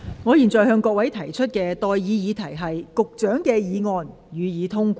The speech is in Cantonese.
我現在向各位提出的待議議題是：發展局局長動議的議案，予以通過。